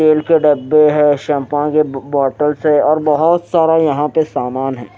तेल के डब्बे है शैंपू के बोतल से और बहुत सारा यहां पे सामान है।